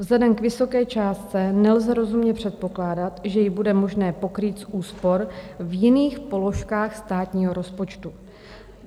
- Vzhledem k vysoké částce nelze rozumně předpokládat, že ji bude možné pokrýt z úspor v jiných položkách státního rozpočtu.